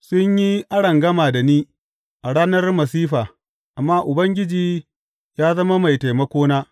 Sun yi arangama da ni a ranar masifa, amma Ubangiji ya zama mai taimakona.